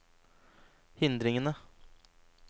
hindringene